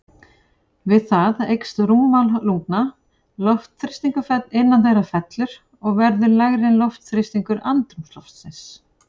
Við það eykst rúmmál lungna, loftþrýstingur innan þeirra fellur og verður lægri en loftþrýstingur andrúmsloftsins.